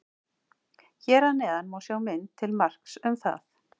Hér að neðan má sjá mynd til marks um það.